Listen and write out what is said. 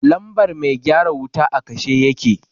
lambar mai gyara wuta a kashe yake.